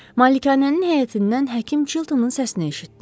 Malikanənin həyətindən həkim Çiltonun səsini eşitdi.